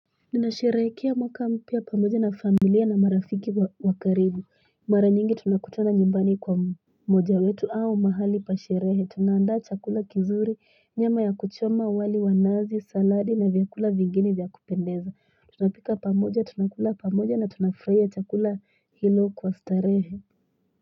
Ninashirekia mwaka mpia pamoja na familia na marafiki wakaribu mara nyingi tunakutona njimbani kwa moja wetu au mahali pashirehe tunaanda chakula kizuri nyama ya kuchoma wali wanazi saladi na vyakula vingini vyakupendeza tunapika pamoja tunakula pamoja na tunafreya chakula hilo kwa starehe.